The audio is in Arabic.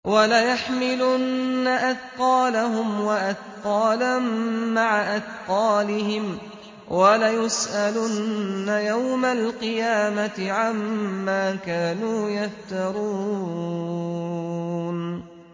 وَلَيَحْمِلُنَّ أَثْقَالَهُمْ وَأَثْقَالًا مَّعَ أَثْقَالِهِمْ ۖ وَلَيُسْأَلُنَّ يَوْمَ الْقِيَامَةِ عَمَّا كَانُوا يَفْتَرُونَ